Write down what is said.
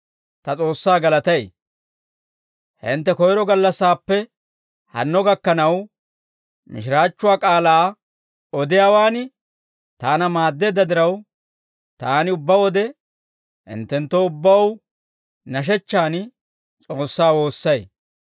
Hintte koyiro gallassaappe hanno gakkanaw, mishiraachchuwaa k'aalaa odiyaawaan taana maaddeedda diraw, taani ubbaa wode hinttenttoo ubbaw nashechchan S'oossaa woossay.